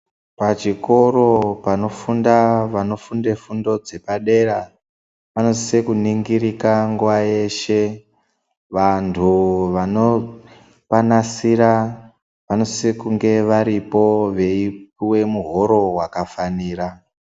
Pachikoro panofunda vanofunda fundo dzepadera panosise kunongirika nguwa yeshe. Vanthu vanopanasira vanosise kunge varipo veipuwe muhoro wakafanira